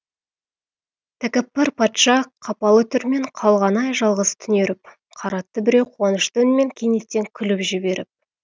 тәкаппар патша қапалы түрмен қалғаны ай жалғыз түнеріп қаратты біреу қуанышты үнмен кенеттен күліп жіберіп